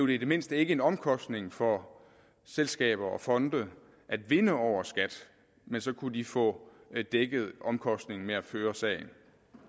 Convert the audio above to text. i det mindste ikke en omkostning for selskaber og fonde at vinde over skat men så kunne de få dækket omkostningen ved at føre sagen